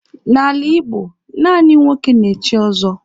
N'ala Igbo, naanị nwoke na-echi ọzọ.